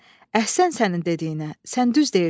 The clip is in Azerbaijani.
Əhsən sənin dediyinə, sən düz deyirsən.